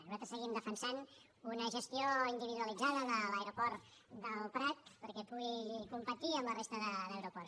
nosaltres seguim defensant una gestió individualitzada de l’aeroport del prat perquè pugui competir amb la resta d’aeroports